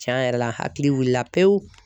Tiɲɛ yɛrɛ la hakili wuli la pewu.